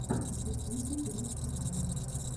в ютубе тришка бам